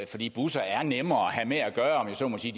fordi busserne er nemmere at have med at gøre om jeg så må sige